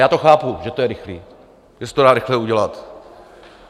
Já to chápu, že to je rychlé, že se to dá rychle udělat.